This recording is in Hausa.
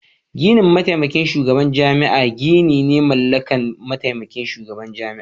Gidan mataimakin shugaban jami'a gini ne mallakin mataimakin shugaban jami'a.